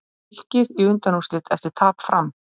Fylkir í undanúrslit eftir tap Fram